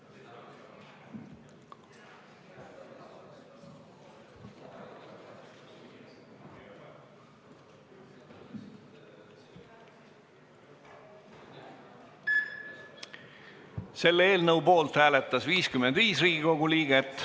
Hääletustulemused Eelnõu poolt hääletas 55 Riigikogu liiget.